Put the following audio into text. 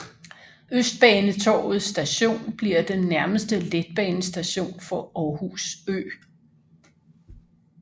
Østbanetorvet Station bliver den nærmeste letbanestation for Aarhus Ø